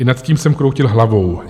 I nad tím jsem kroutil hlavou.